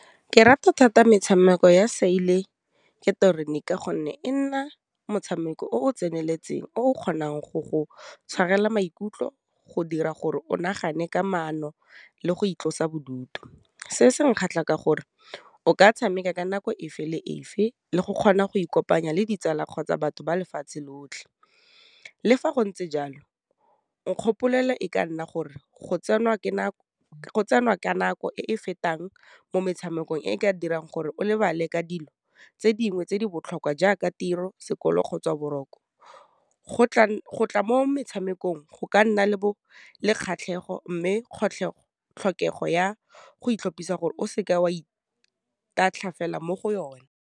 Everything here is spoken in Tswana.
Ke rata thata metshameko ya ka gonne e nna motshameko o o tseneletseng, o okgonang go go tshwarela maikutlo go dira gore o nagane ka mono le go itlosa bodutu. Se se nkgatlha ka gore o ka tshameka ka nako fa le fa le go kgona go ikopanya le ditsala kgotsa batho ba lefatshe lotlhe, le fa go ntse jalo nkgopola e ka nna gore go tsenwa ka nako e e fetang mo metshamekong e ka dirang gore o lebale ka dilo tse dingwe tse di botlhokwa jaaka tiro, sekolo, kgotsa boroko. Go tla mo metshamekong, go ka nna le kgatlhego mme tlhokego ya go itlhopisa gore o seke wa itatlha fela mo go yona.